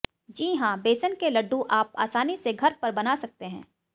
जी हां बेसन के लड्डू आप आसानी से घर पर बना सकते है